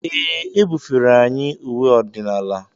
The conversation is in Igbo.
Ee, e bufere anyị uwe ọdịnala.